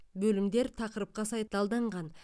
бөлімдер тақырыпқа сай талданған